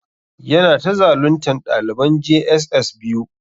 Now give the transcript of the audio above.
Yana ta zaluntan daliban j.s.s biyu.